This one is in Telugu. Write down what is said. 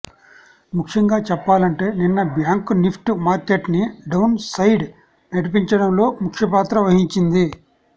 ముఖ్యంగా చెప్పాలంటే నిన్న బ్యాంకు నిఫ్టీ మార్కెట్ని డౌన్ సైడ్ నడిపించడంలో ముఖ్యపాత్ర వహించింది